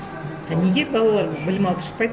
а неге балалар білім алып шықпайды